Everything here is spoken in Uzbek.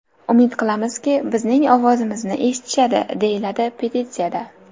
Umid qilamizki, bizning ovozimizni eshitishadi!”, deyiladi petitsiyada.